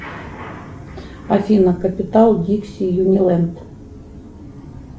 афина капитал дикси юниленд